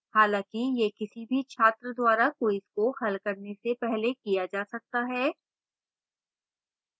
हालांकि यह किसी भी छात्र द्वारा quiz को हल करने से पहले किया जा सकता है